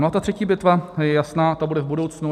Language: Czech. No a ta třetí bitva je jasná, ta bude v budoucnu.